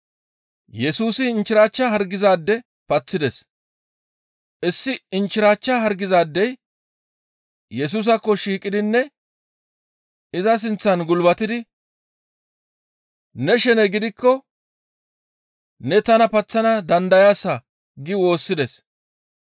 Issi inchchirachcha hargizaadey Yesusaakko shiiqidinne iza sinththan gulbatidi, «Ne shene gidikko ne tana paththana dandayaasa» gi woossides.